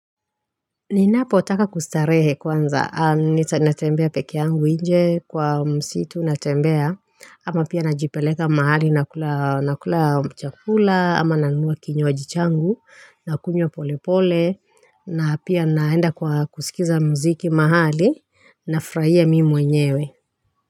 Ninapo taka kustarehe kwanza, natembea pekeangu nje kwa msitu natembea, ama pia najipeleka mahali nakula chakula, ama nanunua kiny waji changu, nakunywa pole pole, na pia naenda kwa kusikiza mziki mahali, nafraia mi mwenyewe.